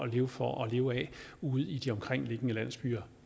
leve for og at leve af ude i de omkringliggende landsbyer